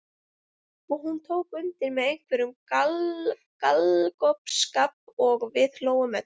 Og hún tók undir með einhverjum galgopaskap og við hlógum öll.